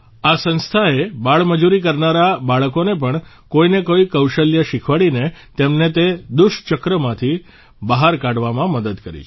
આ સંસ્થાએ બાળમજૂરી કરનારા બાળકોને પણ કોઇને કોઇ કૌશલ્ય શીખવાડીને તેમને તે દુષચક્રમાંથી બહાર કાઢવામાં મદદ કરી છે